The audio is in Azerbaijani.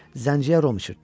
Zənciyə rom içirtdilər.